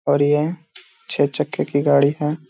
और ये छै चक्के की गाड़ी है।